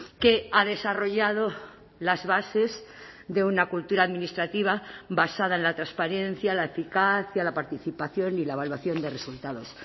que ha desarrollado las bases de una cultura administrativa basada en la transparencia la eficacia la participación y la evaluación de resultados